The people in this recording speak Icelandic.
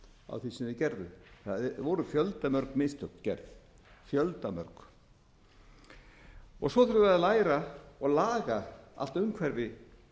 þeir gerðu það voru fjöldamörg mistök gerð fjöldamörg svo þurfum við að læra og laga allt umhverfi